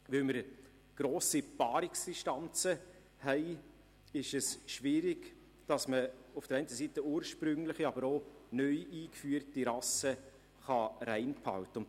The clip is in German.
Weil wir grosse Paarungsdistanzen haben, ist es schwierig, auf der einerseits ursprüngliche, andererseits aber auch neu eingeführte Rassen reinzuhalten.